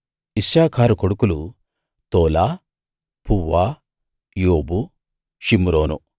ఇశ్శాఖారు కొడుకులు Tola Puvah Job షిమ్రోను